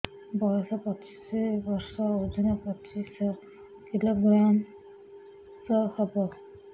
ବୟସ ପଚିଶ ବର୍ଷ ଓଜନ ପଚିଶ କିଲୋଗ୍ରାମସ ହବ